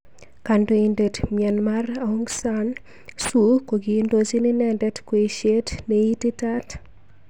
Kandoindet Myanmar Aung San Suu kokindojin inendet kweishet neititaat.